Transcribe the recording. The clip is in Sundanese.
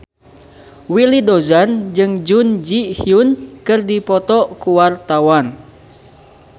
Willy Dozan jeung Jun Ji Hyun keur dipoto ku wartawan